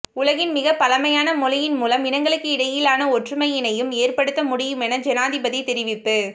உலகின் மிக பழமையான மொழியின் மூலம் இனங்களுகிடையிலான ஒற்றுமையினையும் ஏற்படுத்த முடியுமென ஜனாதிபதி தெரிவிப்பு